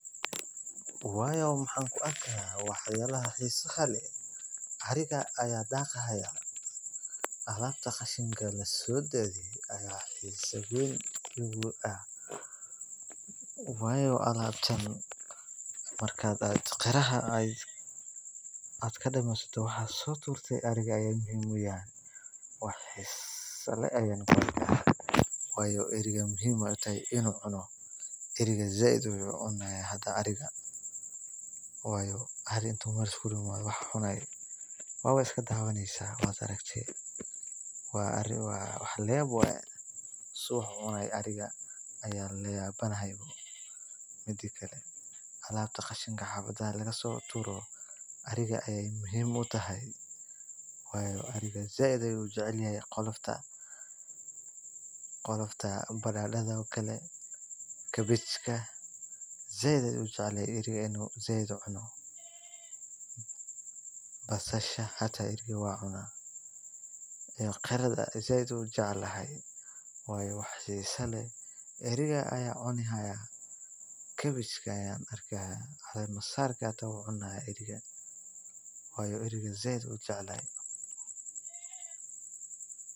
Waayo waxaan ku arkaa wax yaabaha xiisaha leh ariga ayaa daaqi haaya alaabta lasoo dadiye waayo marki aad soo turto ariga ayeey muhiim utahay waayo waa iska dawaneysa wax la yaabi ah waye alabta qashinka ariga ayeey muhiim utahay waayo sait ayuu ujecelyahy qolofta inuu cuno basasha iyo qaraha ariga ayaa cuni haaya kabachka waayo sait ayuu ujecel yahay.